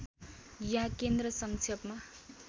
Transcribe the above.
या केन्द्र सङ्क्षेपमा